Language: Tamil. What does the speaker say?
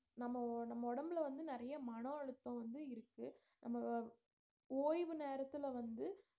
நம்ம நம்ம உடம்புல வந்து நிறைய மன அழுத்தம் வந்து இருக்கு நம்ம ஓய்வு நேரத்திலே வந்து